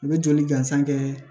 U bɛ joli gansan kɛ